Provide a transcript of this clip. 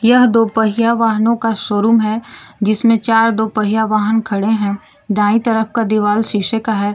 यह दो पहिया वाहनों का शोरूम है जिसमें चार दो पहिया वाहन खड़े हैं दाएं तरफ का दीवाल शीशे का है।